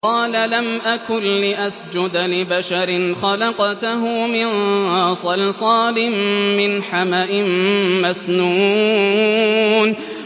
قَالَ لَمْ أَكُن لِّأَسْجُدَ لِبَشَرٍ خَلَقْتَهُ مِن صَلْصَالٍ مِّنْ حَمَإٍ مَّسْنُونٍ